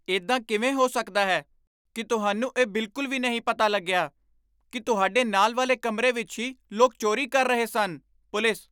ਇੱਦਾਂ ਕਿਵੇਂ ਹੋ ਸਕਦਾ ਹੈ ਕੀ ਤੁਹਾਨੂੰ ਇਹ ਬਿਲਕੁਲ ਵੀ ਪਤਾ ਨਹੀਂ ਲੱਗਿਆ ਕੀ ਤੁਹਾਡੇ ਨਾਲ ਵਾਲੇ ਕਮਰੇ ਵਿੱਚ ਹੀ ਲੋਕ ਚੋਰੀ ਕਰ ਰਹੇ ਸਨ? ਪੁਲਿਸ